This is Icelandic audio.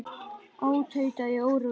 Ó, tauta ég óróleg.